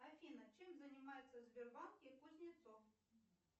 афина чем занимается в сбербанке кузнецов